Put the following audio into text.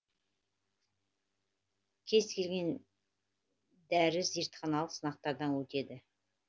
кез келген дәрі зертханалық сынақтардан өтеді